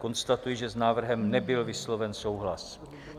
Konstatuji, že s návrhem nebyl vysloven souhlas.